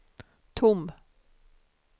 tom